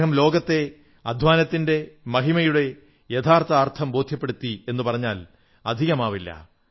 അദ്ദേഹം ലോകത്തെ അധ്വാനത്തിന്റെ മഹിമയുടെ യാഥാർഥ അർഥം ബോധ്യപ്പെടുത്തി എന്നു പറഞ്ഞാൽ അധികമാവില്ല